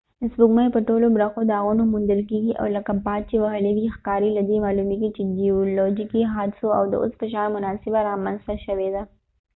د سپوږمۍ په ټولو برخو داغونه موندل کېږي او لکه باد چې وهلي وي ښکاري له دې معلومېږي چې جیولوژیکي حادثو د اوس په شان مناسبه رامنځته شوي ده